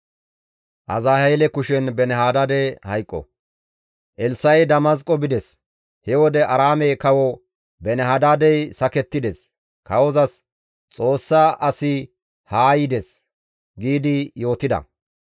Elssa7i Damasqo bides; he wode Aaraame kawo Beeni-Hadaadey sakettides; kawozas, «Xoossa asi haa yides» giidi yootida.